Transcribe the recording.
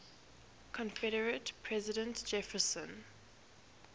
confederate president jefferson